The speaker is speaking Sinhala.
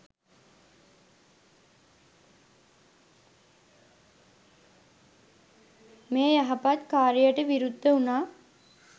මේ යහපත් කාර්යට විරුද්ධවුනා.